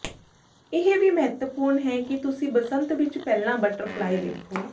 ਇਹ ਵੀ ਮਹੱਤਵਪੂਰਨ ਹੈ ਕਿ ਤੁਸੀਂ ਬਸੰਤ ਵਿੱਚ ਪਹਿਲਾਂ ਬਟਰਫਲਾਈ ਦੇਖੋ